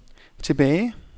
tilbage